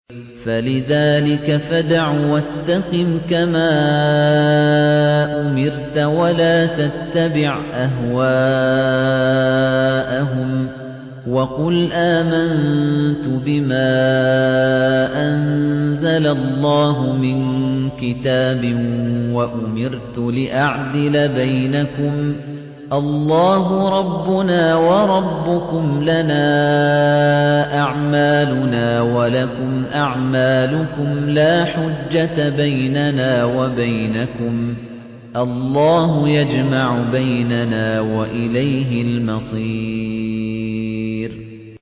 فَلِذَٰلِكَ فَادْعُ ۖ وَاسْتَقِمْ كَمَا أُمِرْتَ ۖ وَلَا تَتَّبِعْ أَهْوَاءَهُمْ ۖ وَقُلْ آمَنتُ بِمَا أَنزَلَ اللَّهُ مِن كِتَابٍ ۖ وَأُمِرْتُ لِأَعْدِلَ بَيْنَكُمُ ۖ اللَّهُ رَبُّنَا وَرَبُّكُمْ ۖ لَنَا أَعْمَالُنَا وَلَكُمْ أَعْمَالُكُمْ ۖ لَا حُجَّةَ بَيْنَنَا وَبَيْنَكُمُ ۖ اللَّهُ يَجْمَعُ بَيْنَنَا ۖ وَإِلَيْهِ الْمَصِيرُ